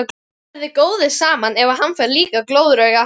Þið verðið góðir saman ef hann fær líka glóðarauga!